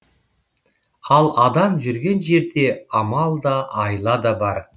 ал адам жүрген жерде амал да айла да бар